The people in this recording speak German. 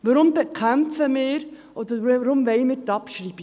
Warum bekämpfen wir oder warum wollen wir die Abschreibung?